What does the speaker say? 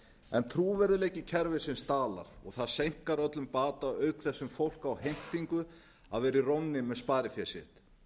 en trúverðugleiki kerfisins dalar og það seinkar öllum bata auk þess fólk á heimtingu að vera í rónni með sparifé sitt